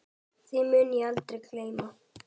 Því mun ég aldrei gleyma.